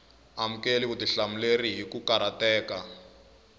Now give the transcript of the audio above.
amukeli vutihlamuleri hi ku karhateka